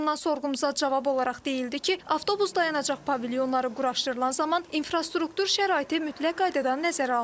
Qurumdan sorğumuza cavab olaraq deyildi ki, avtobus dayanacaq pavilyonları quraşdırılan zaman infrastruktur şəraiti mütləq qaydada nəzərə alınır.